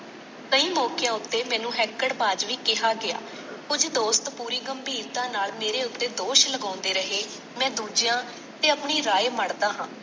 ਕਈ ਮੌਕਿਆਂ ਉੱਤੇ ਮੈਨੂੰ ਹੈਂਕੜਬਾਜ ਵੀ ਕਿਹਾ ਗਿਆ। ਕੁੱਝ ਦੋਸਤ ਪੂਰੀ ਗੰਭੀਰਤਾ ਨਾਲ ਮੇਰੇ ਉੱਤੇ ਦੋਸ਼ ਲਗਾਉਂਦੇ ਰਹੇ, ਮੈਂ ਦੂਜਿਆਂ ਤੇ ਆਪਣੀ ਰਾਏ ਮੜ੍ਹਦਾ ਹਾਂ।